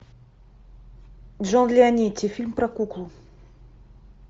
джон леонетти фильм про куклу